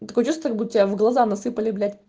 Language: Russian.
такое чувство как будто у тебя в глаза насыпали блять